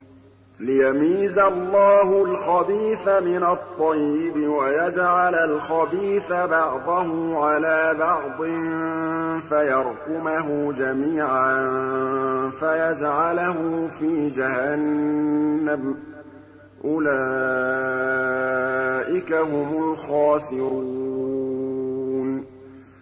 لِيَمِيزَ اللَّهُ الْخَبِيثَ مِنَ الطَّيِّبِ وَيَجْعَلَ الْخَبِيثَ بَعْضَهُ عَلَىٰ بَعْضٍ فَيَرْكُمَهُ جَمِيعًا فَيَجْعَلَهُ فِي جَهَنَّمَ ۚ أُولَٰئِكَ هُمُ الْخَاسِرُونَ